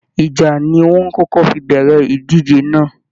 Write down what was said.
Ìjà ni wọ́n kókọ́ fi bẹ̀rẹ̀ ìdíje náà